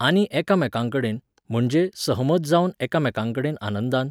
आनी एकामेकांकडेन, म्हणजे, सहमत जावन एकामेकांकडेन आनंदान